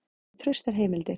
Ég hef traustar heimildir.